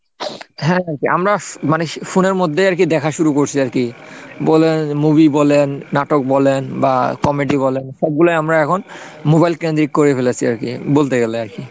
হ্যাঁ আর কি আমরা মানে phone এর মধ্যেই আর কি দেখা শুরু করছি আর কি বলেন movie বলেন, নাটক বলেন বা comedy বলেন সবগুলা আমরা এখন mobile কেন্দ্রিক করে ফেলেছি আর কি বলতে গেলে আর কি।